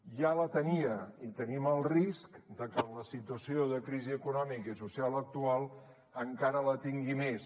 ja la tenia i tenim el risc que amb la situació de crisi econòmica i social actual encara la tingui més